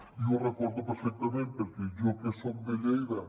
i jo ho recordo perfectament perquè jo que soc de lleida